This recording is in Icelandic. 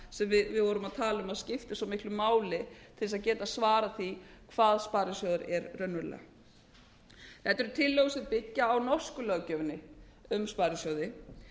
sem við vorum að tala um að skipti svo miklu máli til þess að geta svarað því hvað sparisjóður er raunverulega þetta eru tillögur sem byggja á norsku löggjöfinni um sparisjóði